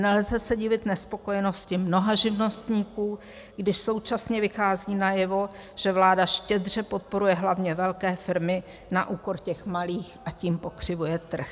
Nelze se divit nespokojenosti mnoha živnostníků, když současně vychází najevo, že vláda štědře podporuje hlavně velké firmy na úkor těch malých, a tím pokřivuje trh.